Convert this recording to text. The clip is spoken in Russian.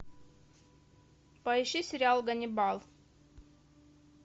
поищи сериал ганнибал